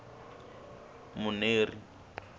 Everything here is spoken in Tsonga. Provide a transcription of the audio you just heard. muneri